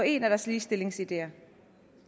en af deres ligestillingsideer